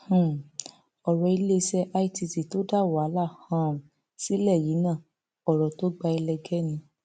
um ọrọ iléeṣẹ itt tó dá wàhálà um sílẹ yìí náà ọrọ tó gba ẹlẹgẹ ni